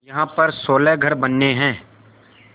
यहाँ पर सोलह घर बनने हैं